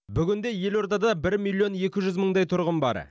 бүгінде елордада бір миллион екі жүз мыңдай тұрғын бар